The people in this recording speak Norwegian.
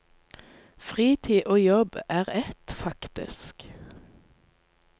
Fritid og jobb er ett, faktisk.